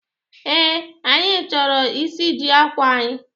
Ee, anyi choro isiji akwa anyi